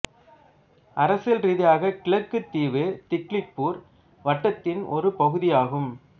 அரசியல் ரீதியாக கிழக்கு தீவு திக்லிபூர் வட்டத்தின் ஒரு பகுதியாகும்